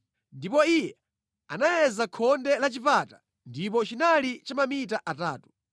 Ndipo iye anayeza khonde la chipata ndipo chinali cha mamita atatu.